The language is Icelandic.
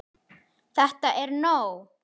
ÞETTA ER NÓG!